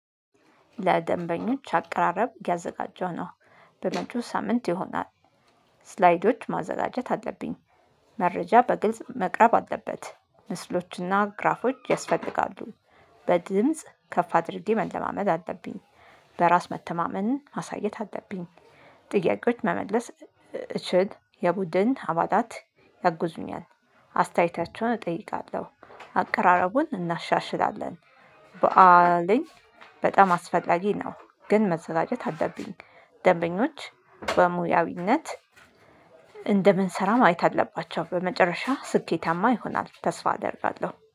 ለደንበኞች አቀራረብ እያዘጋጀሁ ነው በመጪው ሳምንት ይሆናል ስላይዶች ማዘጋጀት አለብኝ መረጃ በግልጽ መቅረብ አለበት ምስሎችና ግራፎች ያስፈልጋሉ በድምጽ ከፍ አድርዴ መለማመድ አለብኝ በራስ መተማመንን ማሳየት አለብኝ ጥያቄዎች መመለስ እችል የቡድን አባላት ያጉዙኛል። አስተያየታቸውን እጠይቃለሁ። አቀራረቡን እናሻሽላለን። በዓልኝ በጣም አስፈላጊ ነው ግን መዘጋጀት አለብኝ ደንበኞች በሙያዊነት እንደምንሰራ ማየት አለባቸው በመጨረሻ ስኬታማ ይሆናል ተስፋ አደርጋለሁ